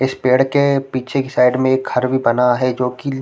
इस पेड़ के पीछे के साइड में एक घर भी बना है जो की ल--